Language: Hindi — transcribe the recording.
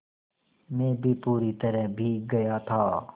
मैं भी पूरी तरह भीग गया था